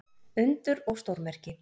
Undur og stórmerki.